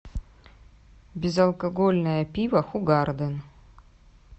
безалкогольное пиво хугарден